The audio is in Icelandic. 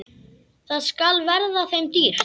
Það skal verða þeim dýrt!